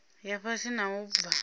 ya fhasi na u bva